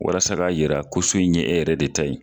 Walasa ka yira ko so in ye e yɛrɛ de ta ye.